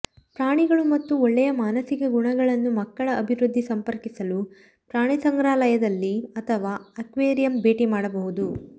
ಪ್ರಾಣಿಗಳು ಮತ್ತು ಒಳ್ಳೆಯ ಮಾನಸಿಕ ಗುಣಗಳನ್ನು ಮಕ್ಕಳ ಅಭಿವೃದ್ಧಿ ಸಂಪರ್ಕಿಸಲು ಪ್ರಾಣಿಸಂಗ್ರಹಾಲಯದಲ್ಲಿ ಅಥವಾ ಅಕ್ವೇರಿಯಂ ಭೇಟಿ ಮಾಡಬಹುದು